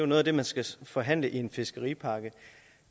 noget der skal forhandles i en fiskeripakke